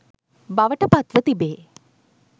බවට පත්ව තිබේ.